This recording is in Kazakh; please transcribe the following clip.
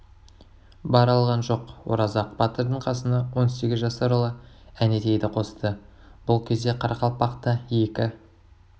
бара алған жоқ оразақ батырдың қасына он сегіз жасар ұлы әнетейді қосты бұл кезде қарақалпақта екі